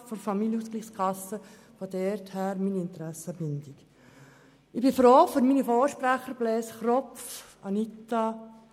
Ich bin froh um die Voten meines Vorredners Grossrat Kropf und meiner Vorrednerin Grossrätin Luginbühl.